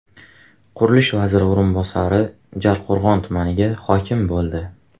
Qurilish vaziri o‘rinbosari Jarqo‘rg‘on tumaniga hokim bo‘ldi.